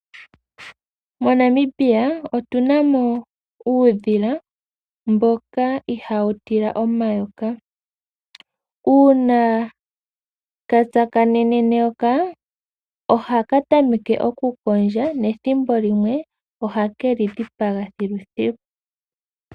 MoNamibia otunamo uudhila mboka ihawu tila omayoka, uuna ka tsakanene neyoka ohaka tameke okukondja nethimbo limwe ohakeli dhipaga thilu thilu.